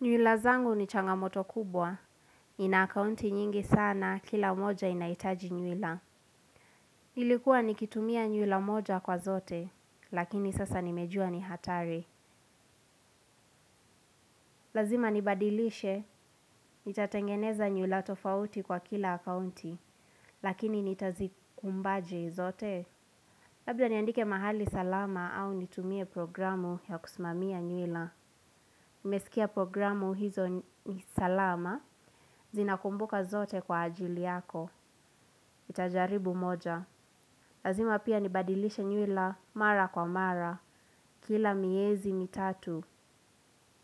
Nywila zangu ni changamoto kubwa. Nina akaunti nyingi sana kila mmoja inahitaji nywila. Nilikuwa nikitumia nywila moja kwa zote lakini sasa nimejua ni hatari. Lazima nibadilishe, nitatengeneza nywila tofauti kwa kila akaunti, lakini nitazikumbaje zote. Labda niandike mahali salama au nitumie programu ya kusimamia nywila. Nimesikia programu hizo ni salama, zinakumbuka zote kwa ajili yako. Nitajaribu moja. Lazima pia nibadilishe nywila mara kwa mara. Kila miezi mitatu.